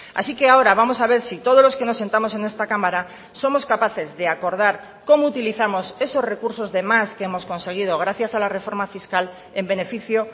así que ahora vamos a ver si todos los que nos sentamos en esta cámara somos capaces de acordar cómo utilizamos esos recursos de más que hemos conseguido gracias a la reforma fiscal en beneficio